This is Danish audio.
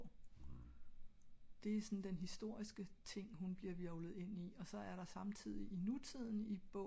det er såen den historiske ting hun bliver hvirvlet ind i og så er der samtidig i nutiden i bogen